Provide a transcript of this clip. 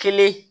Kelen